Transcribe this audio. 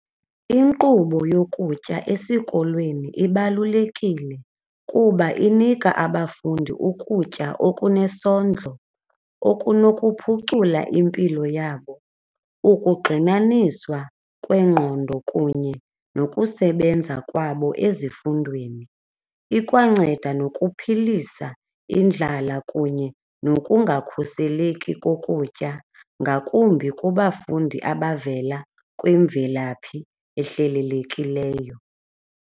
Inkqubo yokutya esikolweni ibalulekile kuba inika abafundi ukutya okunesondlo okunokuphucula impilo yabo, ukugxinaniswa kwengqondo kunye nokusebenza kwabo ezifundweni. Ikwanceda nokuphilisa indlala kunye nokungakhuseleki kokutya ngakumbi kubafundi abavela kwimvelaphi ehlelelekileyo.